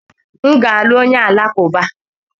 M ga-alụ onye Alakụba.